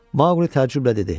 Maqli təəccüblə dedi: